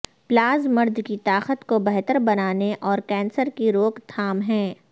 plazas مرد کی طاقت کو بہتر بنانے اور کینسر کی روک تھام ہیں